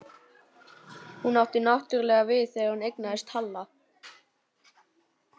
Hún átti náttúrlega við það þegar hún eignaðist Halla.